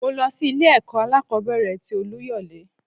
Mo lọ sí ilé ẹ̀kọ́ alákòbẹ̀rẹ̀ tì Oluyole.